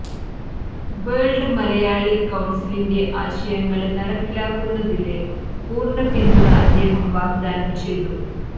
world Malayali കൌണ്സിലിന്റെ ആശയങ്ങള് നടപ്പിലാക്കുന്നതില് പൂര്ണ്ണപിന്തുണ അദ്ദേഹം വാഗ്ദാനം ചെയ്തു